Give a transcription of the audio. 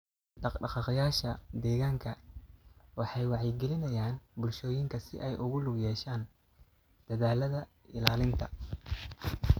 Dhaqdhaqaaqayaasha deegaanka waxay wacyigelinayaan bulshooyinka si ay ugu lug yeeshaan dadaallada ilaalinta.